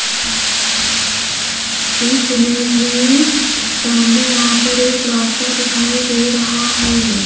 इस इमेज मे सामने यहां पर एक रास्ता दिखाई दे रहा है।